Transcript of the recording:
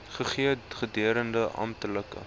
gegee gedurende amptelike